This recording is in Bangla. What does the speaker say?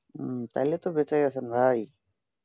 হম তাহলে তো বেঁচেই আছেন ভাই